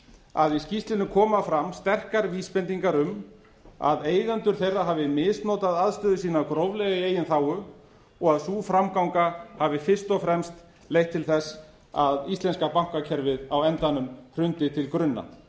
að í skýrslunni koma fram sterkar vísbendingar um að eigendur þeirra hafi misnotað aðstöðu sína gróflega í eigin þágu og að sú framganga hafi fyrst og fremst leitt til þess að íslenska bankakerfið á endanum hrundi til grunna